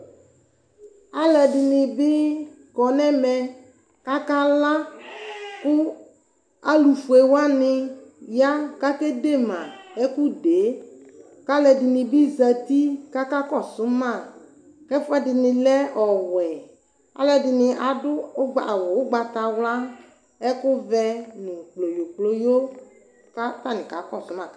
Alʋedinibi kɔnʋ ɛmɛ kʋ akala kʋ alufue wani ya kʋ akedema ɛkʋdee kʋ alʋɛdinibi zati kʋ akakɔsʋ ma kʋ ɛfʋedini lɛ ɔwɛ alʋɛdini adʋ awʋ ugbatawla ɛkʋvɛ nʋ kployokployo kʋ aka kɔsʋ ma